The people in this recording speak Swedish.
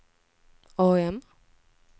AM